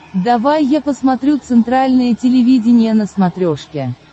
давай я посмотрю центральное телевидение на смотрешке